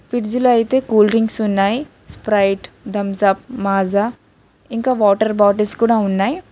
Fridge లో అయితే cool drinks ఉన్నాయి స్ప్రైట్ థంసప్ మాజా ఇంకా వాటర్ బాటిల్స్ కూడా ఉన్నాయి.